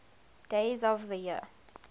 days of the year